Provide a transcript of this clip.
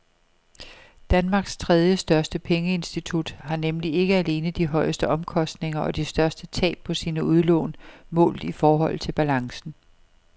Danmarks tredjestørste pengeinstitut har nemlig ikke alene de højeste omkostninger og de største tab på sine udlån målt i forhold til balancen.